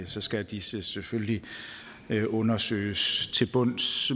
så skal disse selvfølgelig undersøges til bunds